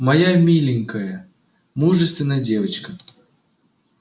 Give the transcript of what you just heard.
моя миленькая мужественная девочка